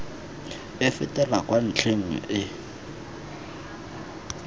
e fetela kwa ntlheng e